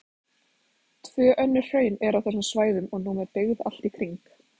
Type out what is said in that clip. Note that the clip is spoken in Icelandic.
Tvö önnur hraun eru á þessum svæðum og nú með byggð allt í kring.